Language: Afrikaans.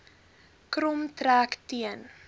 krom trek teen